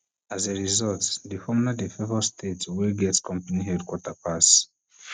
as a result di formula dey favour states wey get companies headquarters pass